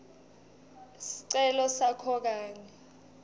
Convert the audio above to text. sicelo sakho kanye